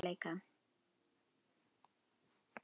Án hans hefði þessi bók tæplega orðið að veruleika.